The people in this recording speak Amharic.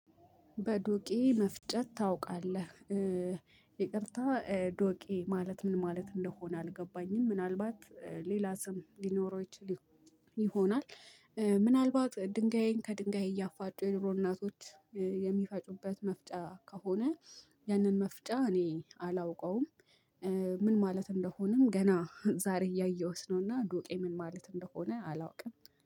በዶቄ መፍጨት ታውቃለህ? ይቅርታ ዶቄ ማለት ምን ማለት እንደሆነ አልገባኝም ምናልባት ሌላ ስም ሊኖረው ይችል ይሆናል ምናልባት ድንጋይን ከድንጋይ እያፋጩ የድሮ እናቶች የሚፈጩበት መፍጫ ከሆነ ያንን መፍጫ እኔ አላውቀውም ምን ማለት እንደሆነም ገና ዛሬ እያየሁት ነውና ዱቄ ምን ማለት እንደሆነ አላውቅም